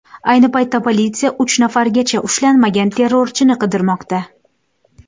Ayni paytda politsiya uch nafargacha ushlanmagan terrorchini qidirmoqda.